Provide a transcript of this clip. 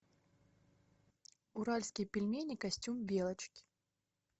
уральские пельмени костюм белочки